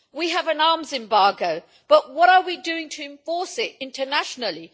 We have an arms embargo, but what are we doing to enforce it internationally?